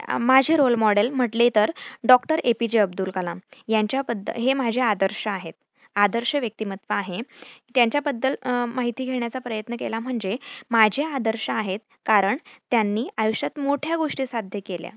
माझे role model म्हटले तर डॉ. A. P. J. Abdul Kalam यांच्याबद्दल हे माझे आदर्श आहेत. आदर्श व्यक्तिमत्त्व आहे. त्यांच्याबद्दल माहिती घेण्याचा प्रयत्न केला म्हणजे माझे आदर्श आहेत कारण त्यांनी आयुष्यात मोठ्या गोष्टी साध्य केल्या.